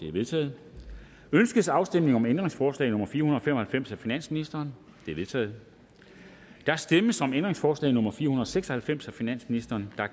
er vedtaget ønskes afstemning om ændringsforslag nummer fire hundrede og fem og halvfems af finansministeren det er vedtaget der stemmes om ændringsforslag nummer fire hundrede og seks og halvfems af finansministeren